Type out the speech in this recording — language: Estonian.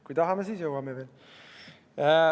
Kui tahame, siis jõuame veel.